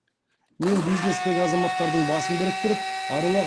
мен бизнестегі азаматтардың басын біріктіріп аруақ